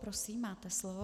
Prosím, máte slovo.